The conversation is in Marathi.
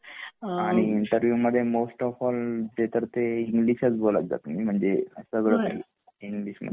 आणि इंटरव्ह्यु मध्ये मोस्ट ऑफ ऑल तेतर ते इंग्लिश च बोलत जा तुम्ही म्हणजे इंग्लिश मध्ये हा